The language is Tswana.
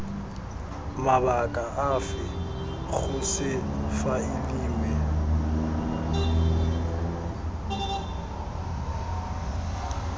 mabaka afe go se faeliwe